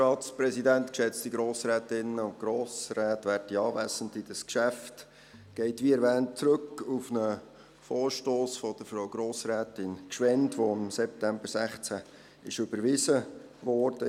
Dieses Geschäft geht, wie erwähnt, zurück auf einen Vorstoss von Grossrätin Gschwend, der im September 2016 überwiesen wurde.